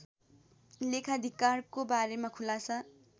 लेखाधिकारको बारेमा खुलासा